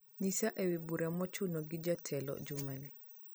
nyisa ewi bura mochuno gi jatelo jumani